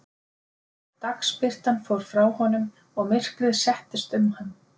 Dagsbirtan fór frá honum og myrkrið settist um hann.